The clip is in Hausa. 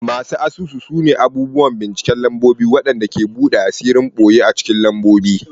Masu asusu sune abubuwan binciken lambobi waɗanda ke buɗe asirin ɓoye a cikin lambobi.